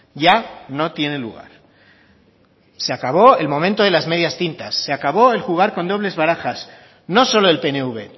ya no tiene lugar se acabó el momento de las medias tintas se acabó el jugar con dobles barajas no solo el pnv